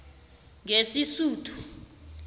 ngesisuthu